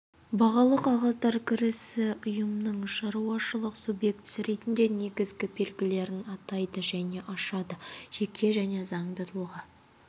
бағалы қағаздар кірісі ұйымның шаруашылық субъектісі ретінде негізгі белгілерін атайды және ашады жеке және заңды тұлға